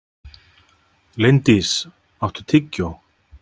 Linddís, áttu tyggjó?